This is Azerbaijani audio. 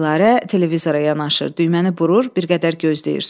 Dilarə televizora yanaşır, düyməni burur, bir qədər gözləyir.